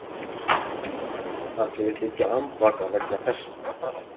Hann segist liggja andvaka vegna þessa